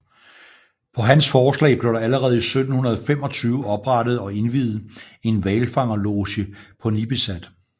På hans forslag blev der allerede i 1725 oprettet og indviet en hvalfangerloge på Nipisat